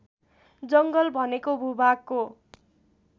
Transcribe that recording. जङ्गल भनेको भूभागको